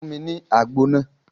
Fún mi ní àgbo náà